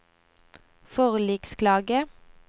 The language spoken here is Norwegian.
forliksklage